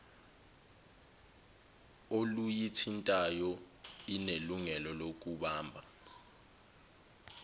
oluyithintayo inelungelo lokubamba